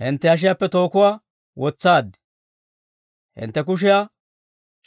«Hintte hashiyaappe tookuwaa wotsaad; hintte kushiyaa